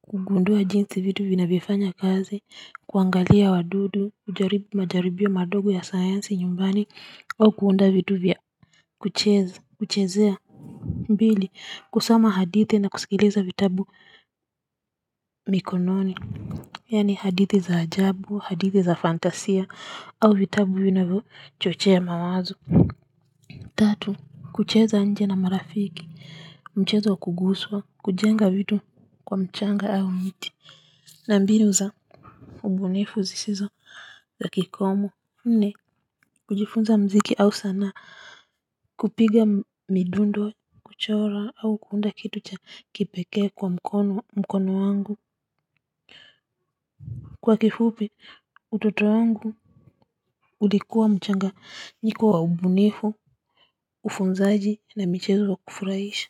kugundua jinsi vitu vinavyofanya kazi, kuangalia wadudu, kujaribu majaribio madogo ya sayansi nyumbani au kuunda vitu vya kucheza kuchezea mbili, kusoma hadithi na kusikiliza vitabu mikononi. Yaani hadithi za ajabu, hadithi za fantasia au vitabu vinavyochochea mawazo. Tatu, kucheza nje na marafiki. Mchezo wa kuguswa, kujenga vitu kwa mchanga au miti. Na mbinu za ubunifu zisizo za kikomo. Nne, kujifunza muziki au sanaa kupiga midundo, kuchora au kuunda kitu cha kipekee kwa mkono mkono wangu. Kwa kifupi utoto wangu ulikuwa mchanganyiko wa ubunifu, ufunzaji na michezo wa kufurahisha.